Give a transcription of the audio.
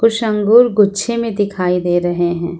कुछ अंगूर गुच्छे में दिखाई दे रहे हैं।